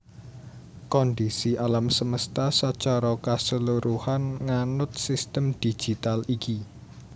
Kondhisi alam semesta sacara kasluruhan nganut sistem digital iki